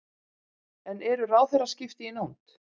En eru ráðherraskipti í nánd?